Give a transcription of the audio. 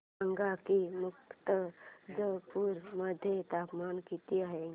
सांगा की मुर्तिजापूर मध्ये तापमान किती आहे